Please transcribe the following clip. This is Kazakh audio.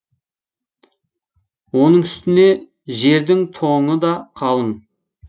оның үстіне жердің тоңы да қалың